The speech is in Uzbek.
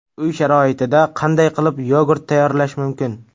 Uy sharoitida qanday qilib yogurt tayyorlash mumkin?